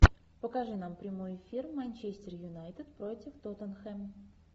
покажи нам прямой эфир манчестер юнайтед против тоттенхэм